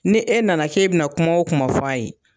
Ni e na na k'e bɛ na kuma o kuma fɔ a ye